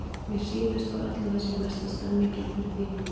Mér sýnist á öllu að það sé mesta stemningin fyrir því núna!